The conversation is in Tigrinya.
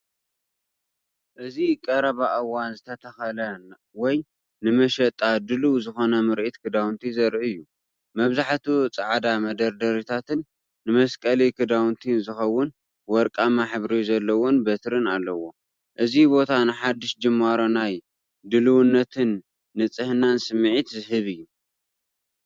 እዚ ቀረባ እዋን ዝተተኽለ ወይ ንመሸጣ ድሉው ዝኾነ ምርኢት ክዳውንቲ ዘርኢ እዩ። መብዛሕትኡ ጻዕዳ መደርደሪታትን ንመሰቀሊ ክዳውንቲ ዝኸውን ወርቃዊ ሕብሪ ዘለዎም በትሪን ኣለዎ። እዚ ቦታ ንሓድሽ ጅማሮ ናይ ድልውነትን ንጽህናን ስምዒት ዝህብ እዩ።